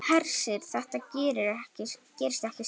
Hersir: Þetta gerist ekki strax?